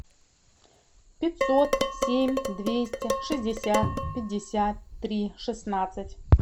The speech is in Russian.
пятьсот семь двести шестьдесят пятьдесят три шестнадцать